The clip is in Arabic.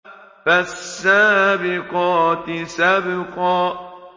فَالسَّابِقَاتِ سَبْقًا